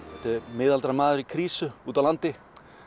miðaldra maður í krísu úti á landi